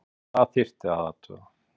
Það þyrfti að athuga????